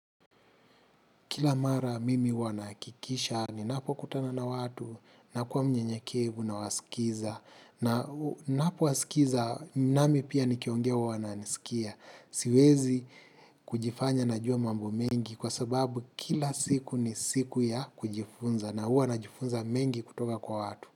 Kila mara mimi huwa naakikisha ninapokutana na watu nakuwa mnyenyekevu nawaskiza. Na napowaskiza nami pia nikiongea uwananisikia. Siwezi kujifanya najua mambo mengi kwa sababu kila siku ni siku ya kujifunza na huwa najifunza mengi kutoka kwa watu.